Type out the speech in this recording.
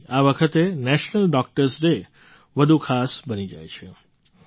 આથી આ વખતે નેશનલ ડૉક્ટર્સ ડે વધુ ખાસ બની જાય છે